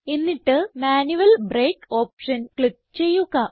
എന്നിട്ട് manual brake option click ചെയ്യുക